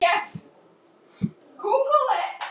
Guðfríður, hefur þú prófað nýja leikinn?